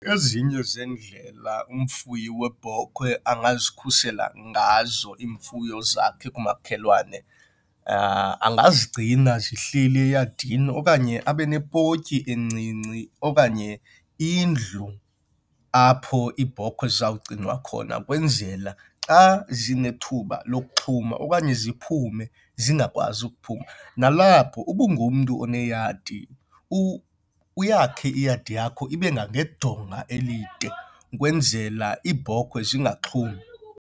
Ezinye zeendlela umfuyi weebhokhwe angazikhusela ngazo iimfuyo zakhe kumakhelwane, angazigcina zihleli eyadini okanye abe nepotyi encinci okanye indlu apho iibhokhwe zakho zizawugcinwa khona kwenzela xa zinethuba lokuxhuma okanye ziphume zingakwazi ukuphuma. Nalapho uba ungumntu oneyadi uyakhe iyadi yakho ibe ngangedonga elide ukwenzela iibhokhwe zingaxhumi.